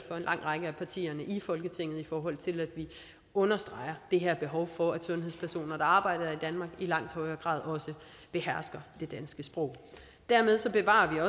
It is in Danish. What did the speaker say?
lang række af partierne i folketinget i forhold til at vi understreger det her behov for at sundhedspersoner der arbejder her i i langt højere grad også behersker det danske sprog dermed bevarer